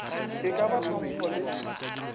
e ka ba hlompho le